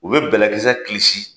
U bɛ bɛlɛkisɛ kilisi